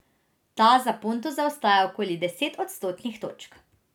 Ta za Ponto zaostaja okoli deset odstotnih točk.